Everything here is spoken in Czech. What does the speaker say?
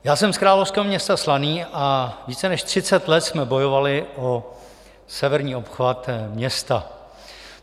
Já jsem z královského města Slaný a více než třicet let jsme bojovali o severní obchvat města.